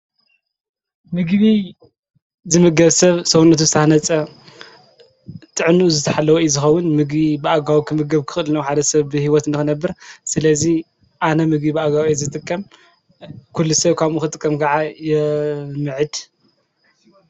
ምጊቢ ዝምገብ ሰብ ሠውነቱ ዝነጸ ጥዕኑ ዝተሕለወእይ ዝኸውን ምጊቢ ብኣጋባቡ ክምገብ ክኽልነዉ ሓደ ሰብ ብሕይወት እንኹ ነብር ስለዙይ ኣነ ምግቢ ብኣጋዊ እየ ዘጥቀም ኲልሰይ ኳ ኽጥቀም ከዓ የምዕድ።